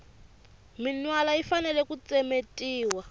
minwala yi fanele ku tsemetiwa